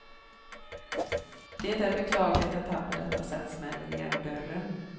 Det är beklagligt att han på detta sätt smäller igen dörren.